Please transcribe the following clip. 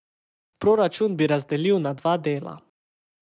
Proračun bi razdelil na dva dela.